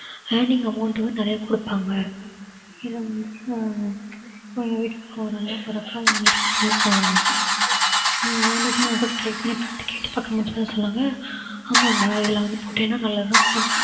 amount வந்து நெறைய கொடுப்பாங்க இத வந்து சா~ இப்ப எங்க வீட்டு பக்கம் ஒரு அண்ணன் ஒரு அக்கா வந்துட்டு எனக்கு வந்து சொன்னாங்க ஹம் நானேதான் கூட try பண்ணி பார்த்தேன் கேட்டுபாக்கும் போது சொன்னாங்க ஆமாடா இதுல வந்து போட்டேன்னா